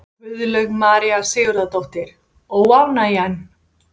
Guðlaug María Sigurðardóttir: Óánægjan?